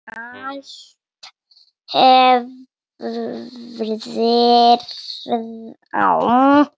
Allt hverfur með þér.